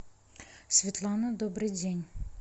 светлана добрый день